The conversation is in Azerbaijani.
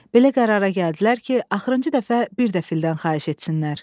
Belə qərara gəldilər ki, axırıncı dəfə bir də fildən xahiş etsinlər.